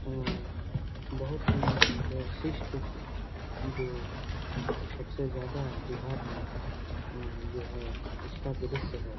उ बहुत ही परशिष्ट जो सबसे ज्यादा बिहार में उ जो है उसका दृश्य है।